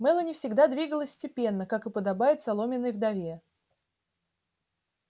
мелани всегда двигалась степенно как и подобает соломенной вдове